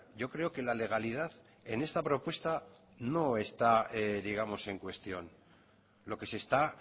yo creo que la legalidad en esta propuesta no está digamos en cuestión lo que se está